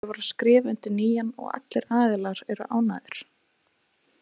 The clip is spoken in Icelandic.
Ég var að skrifa undir nýjan og allir aðilar eru ánægðir.